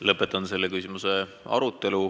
Lõpetan selle küsimuse arutelu.